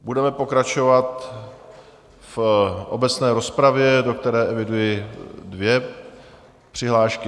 Budeme pokračovat v obecné rozpravě, do které eviduji dvě přihlášky.